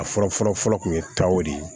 A fɔlɔ fɔlɔ fɔlɔ tun ye taw de ye